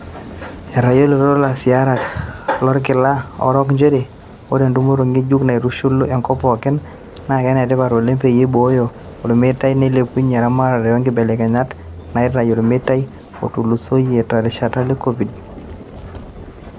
Etayiloito lasirak lorkila orok njere oree entumot ngejuk naitushulu enkop pooki naa kenetipat oleng peyie ibooyo olmeitai neeilepunye eramatare oonkibelekenyat naitayu olmeitai otulusoyia lerishata e covid.